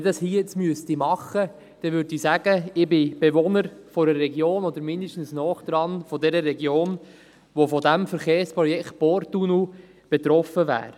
Wenn ich das hier tun müsste, würde ich sagen: Ich bin Bewohner – oder mindestens nahe dran – einer Region, die vom Verkehrsprojekt Porttunnel betroffen sein wird.